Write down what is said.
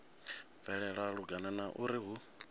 bvelela lungana na uri hu